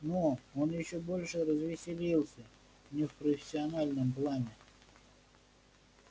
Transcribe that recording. но он ещё больше развеселился не в профессиональном плане